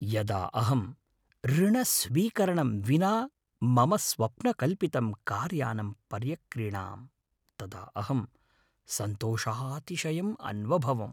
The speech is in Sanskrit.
यदा अहम् ऋणस्वीकरणं विना मम स्वप्नकल्पितं कारयानं पर्यक्रीणाम्, तदा अहम् सन्तोषातिशयम् अन्वभवम्।